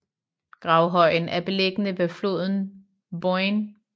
Gravhøjen er beliggende ved floden Boyne